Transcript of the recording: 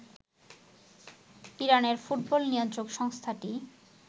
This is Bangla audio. ইরানের ফুটবল নিয়ন্ত্রক সংস্থাটি